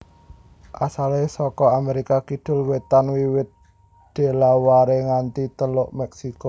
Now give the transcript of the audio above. Asalé saka Amérika kidul wétan wiwit Delaware nganti Teluk Meksiko